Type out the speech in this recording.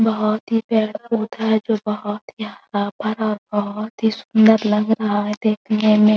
बहुत ही प्यारा पौधा है जो बहुत ही हरा भरा बहुत ही सुंदर लग रहा है देखने में|